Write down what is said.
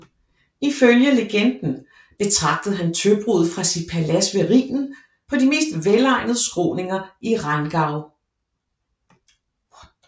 Ifølge legenden betragtede han tøbruddet fra sit palads ved Rhinen på de mest velegnede skråninger i Rheingau